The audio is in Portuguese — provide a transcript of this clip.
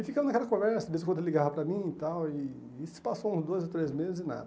E ficamos naquela conversa, de vez em quando ele ligava para mim e tal, e e se passou uns dois ou três meses e nada.